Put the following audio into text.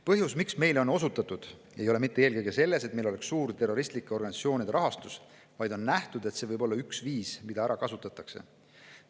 Põhjus, miks meile on osutatud, ei ole eelkõige mitte selles, et meil oleks suur terroristlike organisatsioonide rahastus, vaid on nähtud, et see võib olla üks viis, mida ära kasutatakse.